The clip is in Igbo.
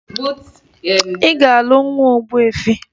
Ị ga-alụ nwa ogbuefi!